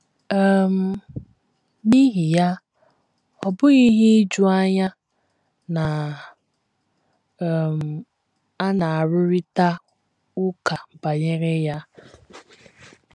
um N’ihi ya, ọ bụghị ihe ijuanya na um a na - arụrịta ụka banyere ya. um